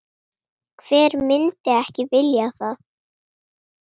Hver myndi ekki vilja það?